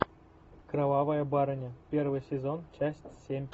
кровавая барыня первый сезон часть семь